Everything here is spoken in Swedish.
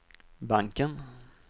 banken